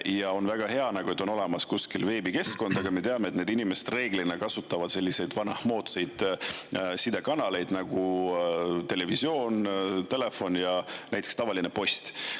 Ja on väga hea, et on olemas kuskil veebikeskkond, aga me teame, et need inimesed reeglina kasutavad selliseid vanamoodsaid sidekanaleid nagu televisioon, telefon ja tavaline post.